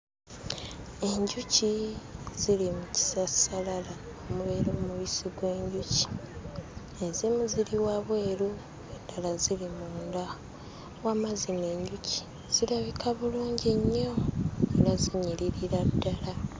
Enjuki ziri mu kisassalala omubeera omubisi gw'enjuki. Ezimu ziri wabweru, endala ziri munda. Wamma zino enjuki zirabika bulungi nnyo era zinyiririra ddala.